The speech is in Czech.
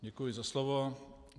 Děkuji za slovo.